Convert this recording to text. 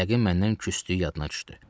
Yəqin məndən küsdüyü yadına düşdü.